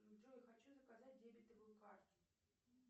джой хочу заказать дебетовую карту